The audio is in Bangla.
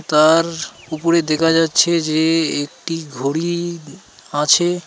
তার উপরে দেখা যাচ্ছে যে একটি ঘড়ি আছে.